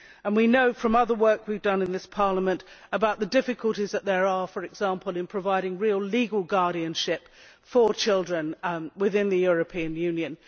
We know from other work we have done in this Parliament about the difficulties, for example, in providing real legal guardianship for children within the European Union.